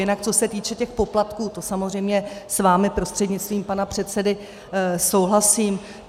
Jinak co se týče těch poplatků, to samozřejmě s vámi prostřednictvím pana předsedy souhlasím.